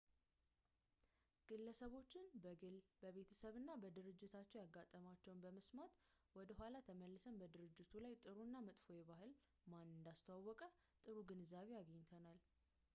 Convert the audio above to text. ግለሰቦችን በግል በቤተሰብ እና በድርጅታቸው ያጋጠማቸውን በመስማት ወደ ኋላ ተመልሰን በድርጅቱ ላይ ጥሩ እና መጥፎ ባህል ማን እንዳስተዋወቀ ጥሩ ግንዛቤ አግኝተናል